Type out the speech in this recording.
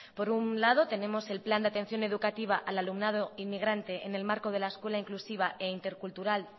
por un lado tenemos el plan de atención educativa al alumnado inmigrante en el marco de la escuela inclusiva e intercultural